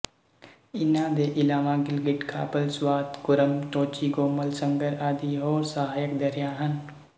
ਇਨ੍ਹਾਂ ਦੇ ਇਲਾਵਾ ਗਿਲਗਿਟ ਕਾਬਲ ਸਵਾਤ ਕੁੱਰਮ ਟੋਚੀ ਗੋਮਲ ਸੰਗਰ ਆਦਿ ਹੋਰ ਸਹਾਇਕ ਦਰਿਆ ਹਨ